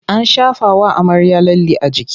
An shafawa amarya lalle a jiki.